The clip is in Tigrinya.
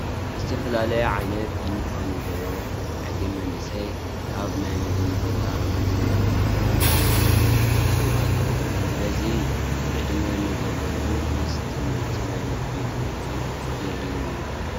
ዝተፈላለየ ዓይነት ዩኒፎርም ዝገበሩ ዕግነ መናእሰይ ካብ ናይ ምግቢ ቦታ ዝበልዕዎ ምግቢ ይወስዱ ኣለዉ፡፡ በዚ ዕድመ ንዘለዉ ምስ ትምህርቲ ናይ ምግቢ ክንክን የድልዮም እዩ፡፡